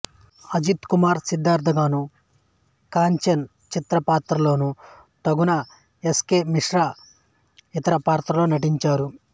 అజిత్ కుమార్ సిద్ధార్థ గాను కాంచన్ చరిత్ర పాత్రలోను తంగన ఎస్ కె మిస్రో ఇతర పాత్రలలో నటించారు